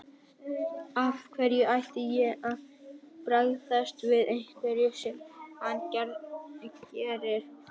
Af hverju ætti ég að bregðast við einhverju sem hann gerir.